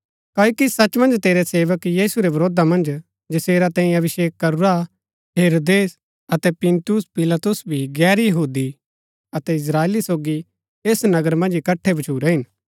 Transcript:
क्ओकि सच मन्ज तेरै सेवक यीशु रै वरोधा मन्ज जैसेरा तैंई अभिषेक करूरा हेरोदेस अतै पुन्‍तियुस पिलातुस भी गैर यहूदी अतै इस्त्राएली सोगी ऐस नगर मन्ज इकट्ठै भच्छुरै हिन